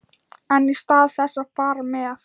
En í stað þess að fara með